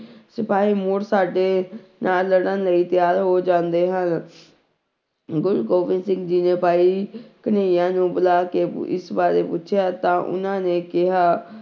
ਸਿਪਾਹੀ ਮੁੜ ਸਾਡੇ ਨਾਲ ਲੜਨ ਲਈ ਤਿਆਰ ਹੋ ਜਾਂਦੇ ਹਨ ਗੁਰੂ ਗੋਬਿੰਦ ਸਿੰਘ ਜੀ ਨੇ ਭਾਈ ਕਨ੍ਹਈਆਂ ਨੂੰ ਬੁਲਾ ਕੇ ਇਸ ਬਾਰੇ ਪੁੱਛਿਆ ਤਾਂ ਉਹਨਾਂ ਨੇ ਕਿਹਾ